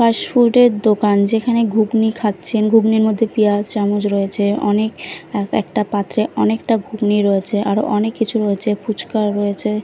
Fast food -এর দোকান যেখানে ঘুগনি খাচ্ছেন ঘুগনির মধ্যে পেঁয়াজ চামচ রয়েছে অনেক এক একটা পাত্রে অনেকটা ঘুগনি রয়েছে আর অনেক কিছু রয়েছে ফুচকাও রয়েছে।